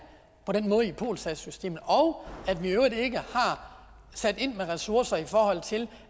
på den måde i polsas systemet og at vi i øvrigt ikke har sat ind med ressourcer til